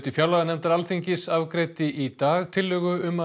fjárlaganefndar Alþingis afgreiddi í dag tillögu um að